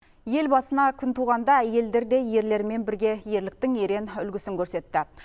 ел басына күн туғанда елдерде ерлермен бірге ерліктің ерен үлгісін көрсетті